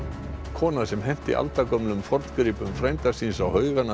kona sem henti aldagömlum forngripum frænda síns á haugana